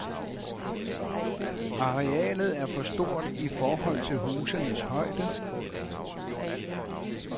Arealet er for stort i forhold til husenes højde.